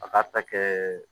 A k'a ta kɛɛ